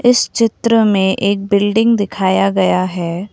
इस चित्र में एक बिल्डिंग दिखाया गया है।